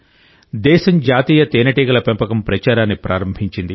దేశం జాతీయ తేనెటీగల పెంపక ప్రచారాన్ని ప్రారంభించింది